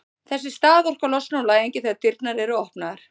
þessi staðorka losnar úr læðingi þegar dyrnar eru opnaðar